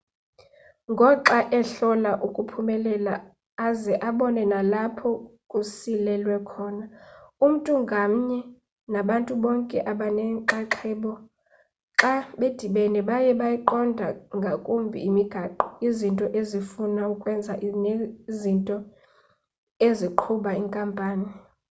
ngoxa ehlola ukuphumelela aze abone nalapho kusilelwe khona umntu ngamnye nabantu bonke abanenxaxheba xa bedibene baye beyiqonda kangumbi imigaqo izinto ezifuna ukwenziwa nezinto eziqhuba inkampani